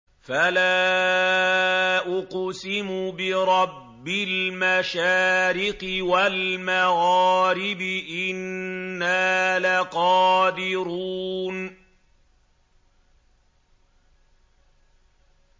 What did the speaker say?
فَلَا أُقْسِمُ بِرَبِّ الْمَشَارِقِ وَالْمَغَارِبِ إِنَّا لَقَادِرُونَ